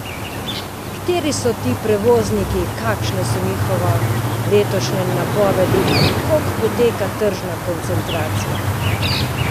Kateri so to prevozniki, kakšne so njihove letošnje napovedi in kako poteka tržna koncentracija?